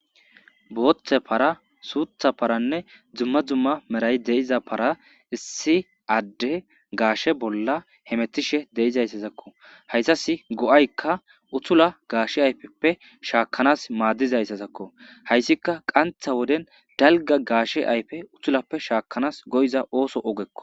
booththe para suutha paranne dzumma zumma meray deiza para issi adde gaashe bolla hemetishe de7izayssazakko hayssas go7aykka uthula gaashe ayfeppe shaakanas maaddizayssazakko hayssika qantha woden dalga gaashe ayfe uthulappe shaakkanas goyiza ooso ogekko